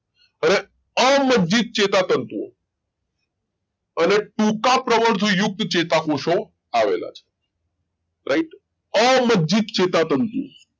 હવે અમજ્જિત ચેતાતંતુ ઓ અને ટૂંકા પ્રમાણતુ યુક્ત ચેતાપોસણ આવેલા છે રાઈટ અમજ્જિત ચેતાતંતુ ઓ